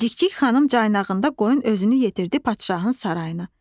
Cikcik xanım caynağında qoyun özünü yetirdi padşahın sarayına.